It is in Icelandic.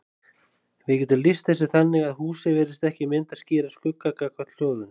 Við getum lýst þessu þannig að húsið virðist ekki mynda skýran skugga gagnvart hljóðinu.